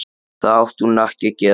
Það átti hún ekki að gera.